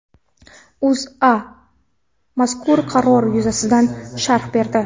O‘zA mazkur qaror yuzasidan sharh berdi .